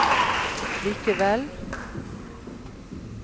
likevel